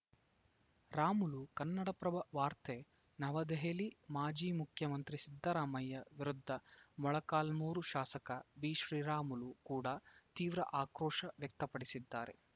ರಾಮುಲು ಕನ್ನಡಪ್ರಭ ವಾರ್ತೆ ನವದೆಹಲಿ ಮಾಜಿ ಮುಖ್ಯಮಂತ್ರಿ ಸಿದ್ದರಾಮಯ್ಯ ವಿರುದ್ಧ ಮೊಳಕಾಲ್ಮುರು ಶಾಸಕ ಬಿಶ್ರೀರಾಮುಲು ಕೂಡ ತೀವ್ರ ಆಕ್ರೋಶ ವ್ಯಕ್ತಪಡಿಸಿದ್ದಾರೆ